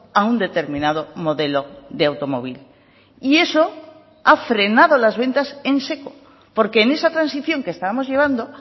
a un determinado modelo de automóvil y eso ha frenado las ventas en seco porque en esa transición que estábamos llevando